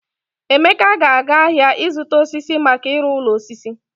Emeka ga-aga ahịa zụta osisi maka ịrụ ụlọ osisi.